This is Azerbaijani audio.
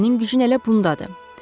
Sənin gücün elə bundadır.